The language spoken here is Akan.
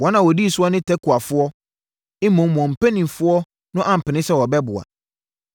Wɔn a wɔdi soɔ ne Tekoafoɔ, mmom wɔn mpanimfoɔ no ampene sɛ wɔbɛboa.